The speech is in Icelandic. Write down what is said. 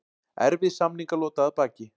Erfið samningalota að baki